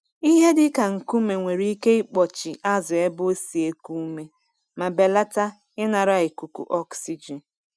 Ihe dịka nkume nwere ike ịkpọchi azụ ebe o si eku ume ma belata ịnara ikuku ọksijin.